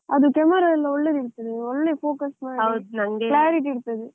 ಅದು camera ಎಲ್ಲ ಒಳ್ಳೆದಿರ್ತದೆ, ಒಳ್ಳೆ focus clarity ಇರ್ತದೆ.